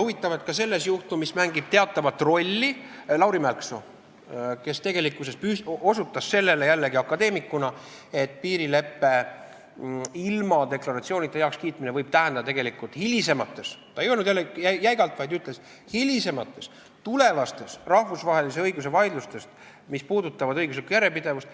Huvitav, et ka selles juhtumis mängib teatavat rolli Lauri Mälksoo, kes jällegi akadeemikuna osutas sellele, et piirileppe ilma deklaratsioonita heakskiitmine võib tegelikult hilisemates – ta ei öelnud jälle jäigalt, vaid ta ütles, et hilisemates –, tulevastes rahvusvahelise õiguse vaidlustes, mis puudutavad õiguslikku järjepidevust,